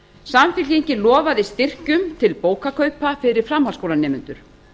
samfylkingin lofaði styrkjum til bókakaupa fyrir framhaldsskólanemendur